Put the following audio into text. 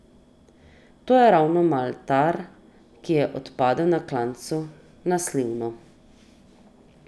To je ravno Maltar, ki je odpadel na klancu na Slivno.